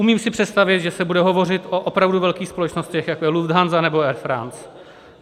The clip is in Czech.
Umím si představit, že se bude hovořit o opravdu velkých společnostech, jako je Lufthansa nebo Air France.